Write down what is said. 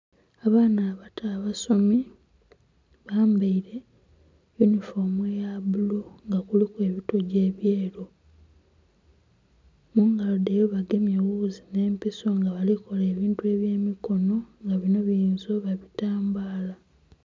Abaana abato abasomi bambaire yunifoomu eya bbulu nga kuliku ebitoji ebyeeru mungalo dhaibwe bagemye ewuuzi n'empiso nga balikola ebintu eby'emikono nga bino biyinza oba bitambaala.